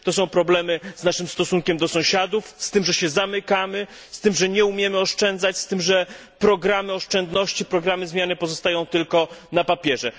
To są problemy z naszym stosunkiem do sąsiadów, z tym, że się zamykamy, z tym, że nie umiemy oszczędzać, z tym, że programy oszczędności, programy zmiany pozostają tylko na papierze.